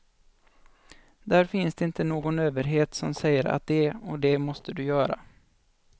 Där finns det inte någon överhet som säger att det och det måste du göra.